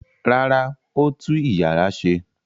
Rárá, ó tú ìyàrá ṣe.